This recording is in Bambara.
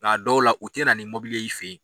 Nka dɔw la u tɛ na ni ye i fɛ yen.